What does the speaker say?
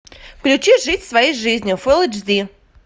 включи жить своей жизнью фул эйч ди